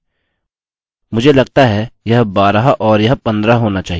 मुझे लगता है यह 12 और यह 15 होना चाहिए